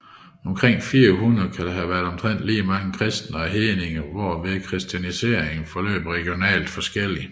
Omkring 400 kan der have været omtrent lige mange kristne og hedninger hvorved kristianiseringen forløb regionalt forskelligt